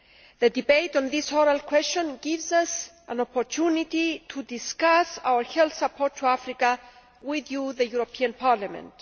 The debate on this oral question gives us an opportunity to discuss our health support to Africa with you, the European Parliament.